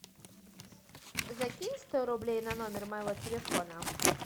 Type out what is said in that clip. закинь сто рублей на номер моего телефона